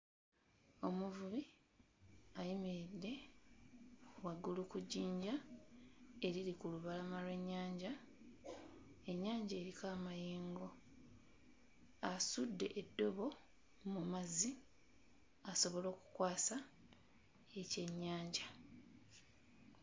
Omuvubi ayimiridde waggulu ku jjinja eriri ku lubalama lw'ennyanja, ennyanja eriko amayengo. Asudde eddobo mu mazzi asobola okukwasa ekyennyanja.